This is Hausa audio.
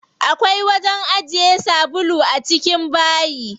Akwai wajen ajiye sabulu a cikin bayi.